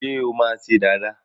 ṣe o ma ṣe Dàda?